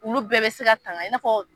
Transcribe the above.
Olu bɛɛ be se ka tanga , i n'a fɔ